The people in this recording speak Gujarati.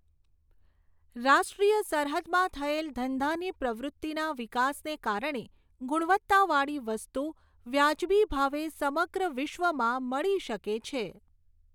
રાષ્ટ્રિય સરહદમાં થયેલ ધંધાની પ્રવૃતિના વિકાસને કારણે ગુણવત્તાવાળી વસ્તુ વ્યાજબી ભાવે સમગ્ર વિશ્વમાં મળી શકે છે.